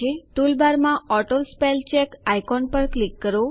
ટૂલબારમાં auto spell check icon પર click કરો